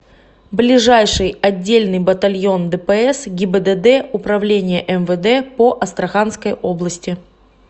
ближайший отдельный батальон дпс гибдд управления мвд по астраханской области